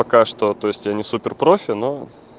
пока что то есть я не супер-профи но